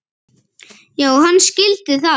Já, hann skildi það.